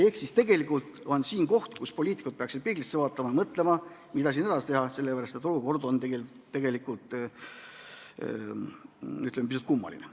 Ehk siis tegelikult on siin koht, kus poliitikud peaksid peeglisse vaatama ja mõtlema, mida edasi teha, sellepärast et olukord on tegelikult, ütleme, pisut kummaline.